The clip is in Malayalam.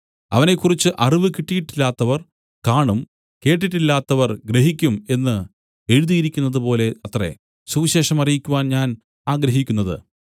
അവനെക്കുറിച്ച് അറിവു കിട്ടിയിട്ടില്ലാത്തവർ കാണും കേട്ടിട്ടില്ലാത്തവർ ഗ്രഹിക്കും എന്നു എഴുതിയിരിക്കുന്നതുപോലെ അത്രേ സുവിശേഷം അറിയിക്കുവാൻ ഞാൻ ആഗ്രഹിക്കുന്നത്